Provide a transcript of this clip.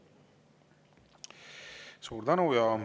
Suur tänu!